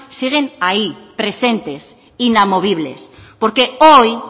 siguen ahí presentes inamovibles porque hoy